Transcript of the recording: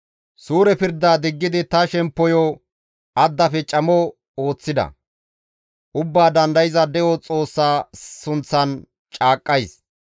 «Suure pirda diggidi ta shemppoyo addafe camo ooththida; Ubbaa Dandayza De7o Xoossa sunththan caaqqays;